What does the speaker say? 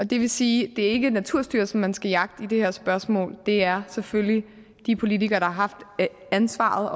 det vil sige at det ikke er naturstyrelsen man skal jagte i det her spørgsmål det er selvfølgelig de politikere der har haft ansvaret